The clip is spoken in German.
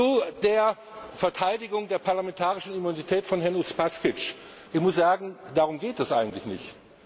Zu der Verteidigung der parlamentarischen Immunität von Herrn Uspaskich Ich muss sagen, darum geht es eigentlich nicht.